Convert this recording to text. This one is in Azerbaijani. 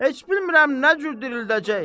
Heç bilmirəm nə cür dirildəcək.